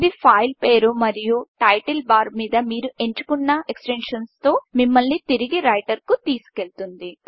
ఇది ఫైల్ పేరు మరియు టైటిల్ బార్ మీద మీరు ఎంచుకున్న ఎక్స్ టెన్షన్తో మిమ్ముల్ని తిరిగి రైటర్కు తీసుకెళుతుంది